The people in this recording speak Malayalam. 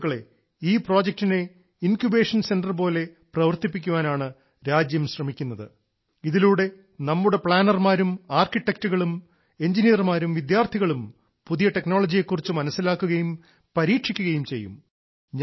സുഹൃത്തുക്കളെ ഈ പ്രോജക്ടിനെ ഇൻക്യുബേഷൻ സെന്റർ പോലെ പ്രവർത്തിപ്പിക്കാനാണ് രാജ്യം ശ്രമിക്കുന്നത് ഇതിലൂടെ നമ്മുടെ പ്ലാനർമാരും ആർക്കിടെക്റ്റുകളും എൻജിനീയർമാരും വിദ്യാർത്ഥികളും പുതിയ ടെക്നോളജിയെ കുറിച്ച് മനസ്സിലാക്കുകയും പരീക്ഷിക്കുകയും ചെയ്യും